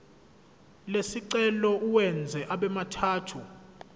lesicelo uwenze abemathathu